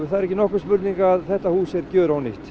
það er ekki nokkur spurning að þetta hús er